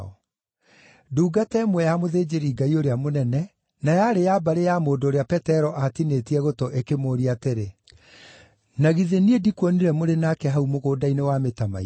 Ndungata ĩmwe ya mũthĩnjĩri-Ngai ũrĩa mũnene, na yarĩ ya mbarĩ ya mũndũ ũrĩa Petero aatinĩtie gũtũ, ĩkĩmũũria atĩrĩ, “Na githĩ niĩ ndirakuonire mũrĩ nake hau mũgũnda-inĩ wa mĩtamaiyũ?”